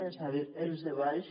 és a dir els de baix